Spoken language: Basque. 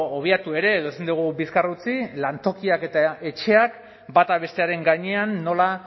obiatu ere edo ezin dugu bizkar utzi lantokiak eta etxeak bata bestearen gainean nola